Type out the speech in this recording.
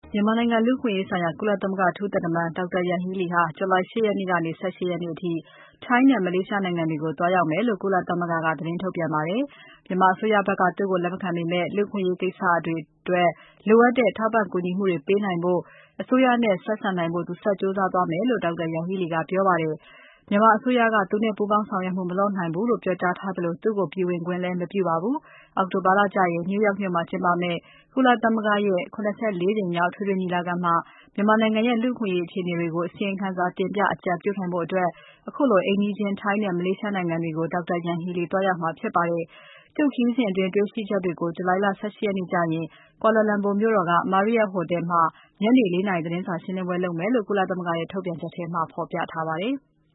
မြန်မာနိုင်ငံ လူ့အခွင့်အရေးဆိုင်ရာ ကုလသမဂ္ဂ အထူးသံတမန် Dr. Yanghee Lee ဟာ ဇူလိုင် ၈ ရက်ကနေ ၁၈ ရက်အထိ ထိုင်းနဲ့ မလေးရှားနိုင်ငံတွေကို သွားရောက်မယ်လို့ ကုလသမဂ္ဂက သတင်းထုတ်ပြန်ပါမယ်။ မြန်မာအစိုးရဘက်က သူ့ကို လက်မခံပေမဲ့ လူ့အခွင့်အရေးကိစ္စတွေအတွက် လိုအပ်တဲ့ ထောက်ပံ့ကူညီမှုတွေ ပေးနိုင်ဖို့၊ အစိုးရနဲ့ ဆက်ဆံနိုင်ဖို့ သူဆက်လက် ကြိုးစားမယ်လို့ Dr. Yanghee Lee က ပြောပါတယ်။ မြန်မာအစိုးရက သူ့နဲ့ ပူးပေါင်းဆောင်ရွက်မှု မလုပ်နိုင်ဘူးလို့ ပြောကြားထားသလို သူ့ကို ပြည်ဝင်ခွင့်လည်း မပြုပါဘူး။ အောက်တိုဘာလကျရင် New York မြို့မှာ ကျင်းပမယ့် ကုလသမဂ္ဂ ၇၄ ကြိမ်မြောက် အထွေထွေညီလာခံမှာ မြန်မာနိုင်ငံရဲ့ လူ့အခွင့်အရေး အခြေအနေတွေကို အစီရင်ခံတင်ပြ အကြံပြုနိုင်ဖို့ ခုလို အိမ်နီးချင်း ထိုင်းနဲ့ မလေးရှားနိုင်ငံတွေကို Dr. Yanghee Lee သွားရောက်မှာ ဖြစ်ပါတယ်။ သူ့ခရီးစဉ်အတွင်း တေ့ွရှိချက်တွေကို ဇူလိုင် ၁၈ ရက်ကျရင် Kuala Lumpur မြို့တော်က Marriott ဟိုတယ်မှာ ညနေ ၄ နာရီ သတင်းစာရှင်းပွဲ လုပ်မယ်လို့ ကုလသမဂ္ဂရဲ့ ထုတ်ပြန်ချက်မှာ ဖော်ပြထားပါတယ်။